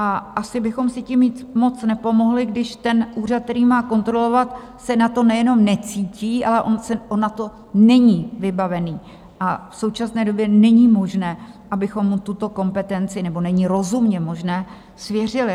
A asi bychom si tím moc nepomohli, když ten úřad, který má kontrolovat, se na to nejenom necítí, ale on na to není vybavený a v současné době není možné, abychom mu tuto kompetenci - nebo není rozumně možné - svěřili.